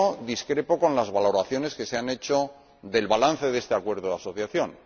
Discrepo de las valoraciones que se han hecho del balance de este acuerdo de asociación.